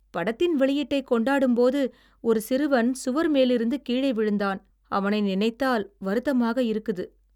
படத்தின் வெளியீட்டைக் கொண்டாடும்போது ஒரு சிறுவன் சுவர் மேலிருந்து கீழே விழுந்தான். அவனை நினைத்தால் வருத்தமாக இருக்குது.